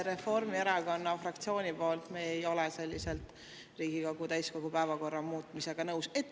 Reformierakonna fraktsiooni nimel: me ei ole selliselt Riigikogu täiskogu päevakorra muutmisega nõus.